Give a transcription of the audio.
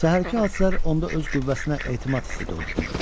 Səhərki hadisələr onda öz qüvvəsinə etimad hissi doğurtmuşdu.